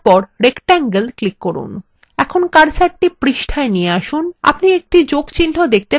এখন কার্সারটি পৃষ্ঠায় নিয়ে আসুন আপনি একটি যোগ চিহ্ন দেখতে পাচ্ছেন যাতে একটি বড় হাতের অক্ষরে i আছে